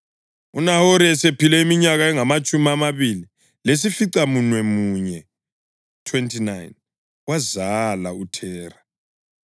UNahori esephile iminyaka engamatshumi amabili lesificamunwemunye (29) wazala uThera.